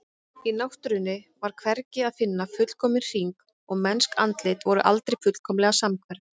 Í náttúrunni var hvergi að finna fullkominn hring og mennsk andlit voru aldrei fullkomlega samhverf.